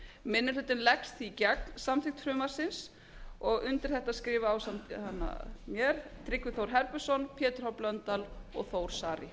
minni hlutinn leggst því gegn samþykkt frumvarpsins og undir þetta skrifa ásamt mér tryggvi þór herbertsson pétur h blöndal og þór saari